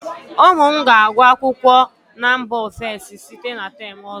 ụmụ m ga-agụ akwụkwọ na mba ofesi site na term ọzọ